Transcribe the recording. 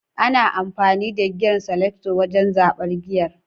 ana amfani da giyer selector wajen zaɓar giyer